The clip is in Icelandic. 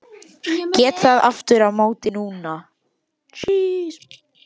Get það aftur á móti núna.